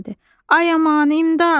Ay aman, imdad!